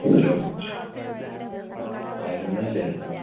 hello അരുണല്ലേ